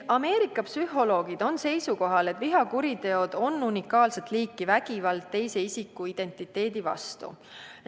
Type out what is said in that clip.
Ameerika psühholoogid on seisukohal, et vihakuriteod on unikaalset liiki vägivald teise isiku identiteedi vastu.